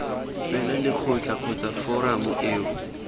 fela lekgotla kgotsa foramo eo